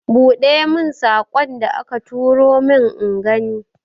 Buɗe mun saƙon da aka turo min ingani.